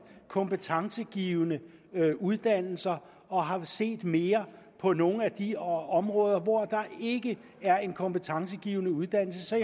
kompetencegivende uddannelser og har set mere på nogle af de områder hvor der ikke er en kompetencegivende uddannelse så